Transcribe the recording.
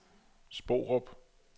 Sporup